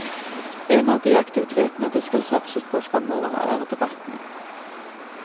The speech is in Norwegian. En av de aktivitetene det skal satses på fremover er debattene.